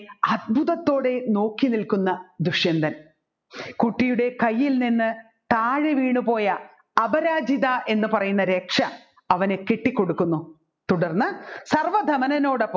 അത്ഭുതത്തോടെ നോക്കി നിൽക്കുന്ന ദുഷ്യന്തൻ കുട്ടിയുടെ കൈയിൽ നിന്ന് താഴെ വീണുപോയ അപരാചിത എന്ന് പറയുന്ന രക്ഷ അവനെ കെട്ടികൊടുക്കുന്നു തുടർന്ന് സർവ്വദമനനോടൊപ്പം